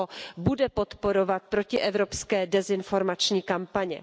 Rusko bude podporovat protievropské dezinformační kampaně.